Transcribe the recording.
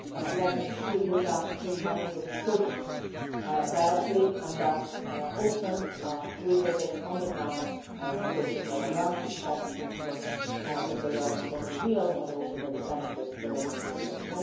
Let me assure you that this money goes directly to projects and that we often visit projects on the ground to check not only that they are real but also that they benefit the local population.